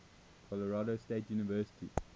colorado state university